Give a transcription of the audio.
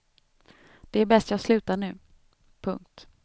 Det är bäst jag slutar nu. punkt